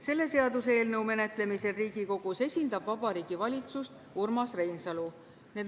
Selle seaduseelnõu menetlemisel Riigikogus esindab Vabariigi Valitsust Urmas Reinsalu.